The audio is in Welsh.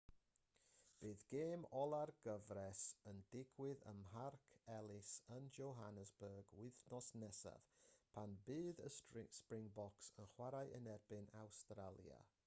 bydd gêm ola'r gyfres yn digwydd ym mharc ellis yn johannesburg wythnos nesaf pan fydd y springboks yn chwarae yn erbyn awstralia